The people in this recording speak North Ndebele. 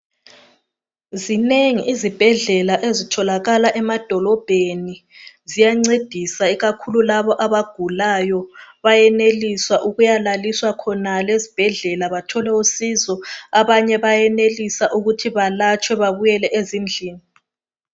Zinengi izibhedlela ezitholakala emadolobheni. Ziyancedisa ikakhulu labo abagulayo. Bayenelisa ukuyelaliswa esibhedlela abanye bayelatshwa babuyele ezindlini.